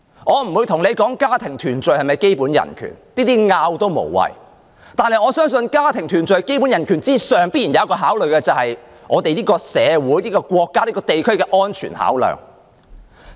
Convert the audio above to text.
我不討論家庭團聚是否一種基本人權，就這類問題無謂爭辯，但我相信在家庭團聚的基本人權之上，必然有一項考慮，便是社會、地區、國家的安全考量。